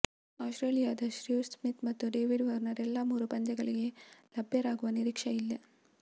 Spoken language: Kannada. ಆಸ್ಟ್ರೇಲಿಯದ ಸ್ಟೀವ್ ಸ್ಮಿತ್ ಮತ್ತು ಡೇವಿಡ್ ವಾರ್ನರ್ ಎಲ್ಲ ಮೂರು ಪಂದ್ಯಗಳಿಗೆ ಲಭ್ಯರಾಗುವ ನಿರೀಕ್ಷೆ ಇಲ್ಲ